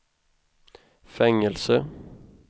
fängelse